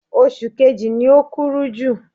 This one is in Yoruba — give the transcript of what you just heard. Oṣù kejì ni o kúrú jù.